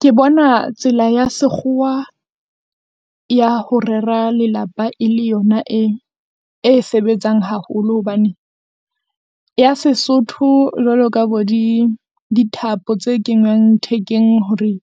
Ke bona tsela ya sekgowa ya ho rera lelapa e le yona e, e sebetsang haholo hobane. Ya Sesotho jwalo ka bo di dithapo tse kenywang thekeng hore